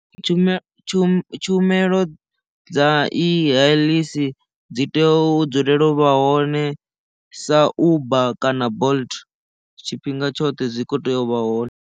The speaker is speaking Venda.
Tshumelo tshumelo dza i heḽisi dzi tea u dzulela u vha hone sa uber kana bolt tshifhinga tshoṱhe zwi kho tea u vha hone.